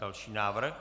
Další návrh.